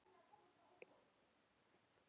Hún stendur í fjórar vikur.